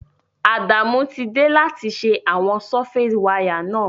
Adamu ti de láti se àwon surface wire náà